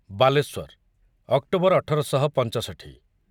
Balasore October ଅଠର ଶହ ପଞ୍ଚଷଠି